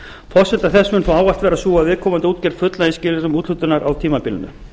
forsenda þessa mun þó ávallt vera sú að viðkomandi útgerðir fullnægi skilyrðum úthlutunar á tímabilinu